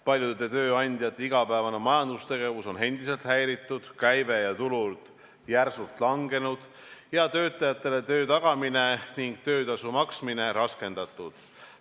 Paljude tööandjate igapäevane majandustegevus on endiselt häiritud, käive ja tulud järsult langenud, töötajatele töö tagamine ning töötasu maksmine raskendatud.